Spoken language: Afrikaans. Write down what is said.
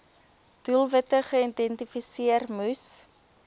doelwitte geïdentifiseer moes